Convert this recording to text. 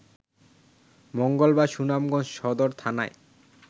মঙ্গলবার সুনামগঞ্জ সদর থানায়